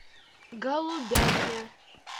голубятня